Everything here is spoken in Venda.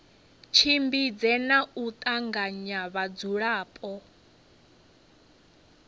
tshimbidze na u tanganya vhadzulapo